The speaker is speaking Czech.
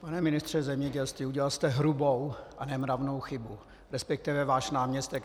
Pane ministře zemědělství, udělal jste hrubou a nemravnou chybu, respektive váš náměstek.